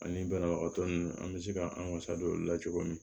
Ani banabagatɔ ninnu an bɛ se ka an wasa don o la cogo min